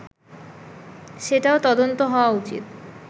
সেটাও তদন্ত হওয়া উচিত